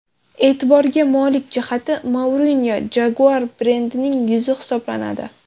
E’tiborga molik jihati, Mourinyo Jaguar brendining yuzi hisoblanadi.